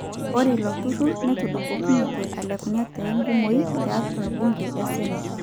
Ore iloturur netudupokinote alekunye te ngumoi tiatua bunge e seneti.